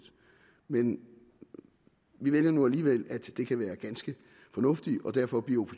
men vi vælger nu alligevel at det kan være ganske fornuftigt og derfor bliver